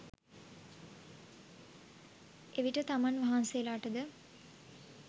එවිට තමන් වහන්සේලාට ද